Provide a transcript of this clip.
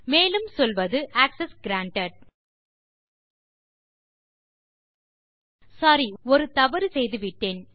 மேலும் சொல்வது access granted sorry ஒரு தவறு செய்துவிட்டேன்